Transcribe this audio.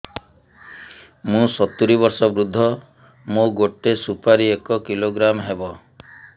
ମୁଁ ସତୂରୀ ବର୍ଷ ବୃଦ୍ଧ ମୋ ଗୋଟେ ସୁପାରି ଏକ କିଲୋଗ୍ରାମ ହେବ